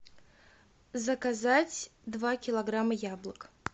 заказать два килограмма яблок